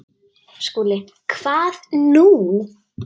SKÚLI: Hvað nú?